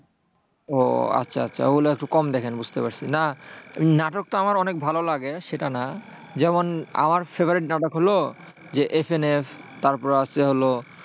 ও আচ্ছা আচ্ছা। ওগুলো একটু কম দেখেন বুঝতে পারছি। না, নাটকটা আমার অনেক ভালো লাগে। সেটা না। যেমন আমার favorite নাটক হল যে FNF তারপর আছে হল,